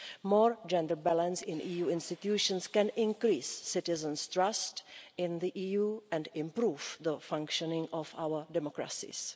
More gender balance in EU institutions can increase citizens' trust in the EU and improve the functioning of our democracies.